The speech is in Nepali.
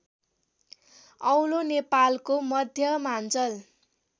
अलौ नेपालको मध्यमाञ्चल